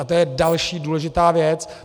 A to je další důležitá věc.